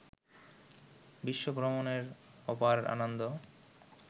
বিশ্বভ্রমণের অপার আনন্দ